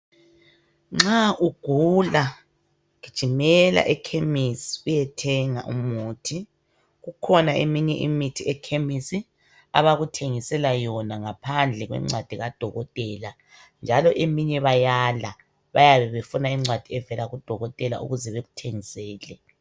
Nxa ugula, gijimela ekhemisi uyethenga umuthi. Kukhona eminye imithi ekhemisi abakuthengisela yona ngaphandle kwencwadi kadokotela. Njalo eminye bayala bayabebefuna incwadi evela kadokotela ukuze bekuthengisele.